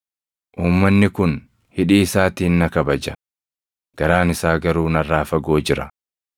“ ‘Uumanni kun hidhii isaatiin na kabaja; garaan isaa garuu narraa fagoo jira.